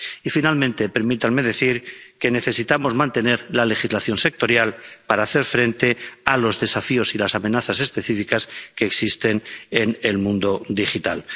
Y finalmente permítanme decir que necesitamos mantener la legislación sectorial para hacer frente a los desafíos y las amenazas específicas que existen en el mundo digital.